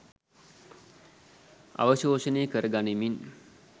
අවශෝෂණය කර ගනිමින්